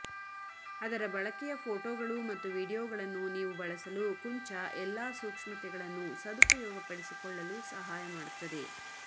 ಅದರ ಬಳಕೆಯ ಫೋಟೋಗಳು ಮತ್ತು ವೀಡಿಯೊಗಳನ್ನು ನೀವು ಬಳಸಲು ಕುಂಚ ಎಲ್ಲಾ ಸೂಕ್ಷ್ಮತೆಗಳನ್ನು ಸದುಪಯೋಗಪಡಿಸಿಕೊಳ್ಳಲು ಸಹಾಯ ಮಾಡುತ್ತದೆ